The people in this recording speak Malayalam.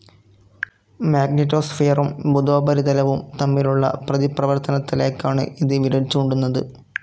മാഗ്നെറ്റോസ്ഫിയറും ബുധോപരിതലവും തമ്മിലുള്ള പ്രതിപ്രവർത്തനത്തിലേക്കാണ് ഇത് വിരൽചൂണ്ടുന്നത്.